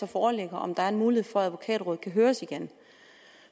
foreligger er en mulighed for at advokatrådet kan høres igen